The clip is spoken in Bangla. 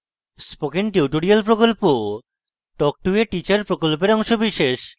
spoken tutorial talk to a teacher প্রকল্পের অংশবিশেষ